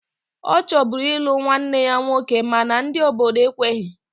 Ọ chọburu ịlụ nwanne ya nwoke mana ndị obodo ekweghi